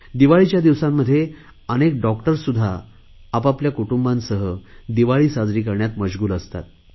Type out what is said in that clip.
दिवाळीच्या दिवसांमध्ये अनेक डॉक्टरसुध्दा आपल्या कुटुंबांसह दिवाळी साजरी करण्यात मश्गुल असतात